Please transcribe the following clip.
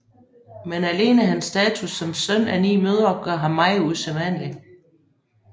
Men alene hans status som søn af ni mødre gør ham meget usædvanlig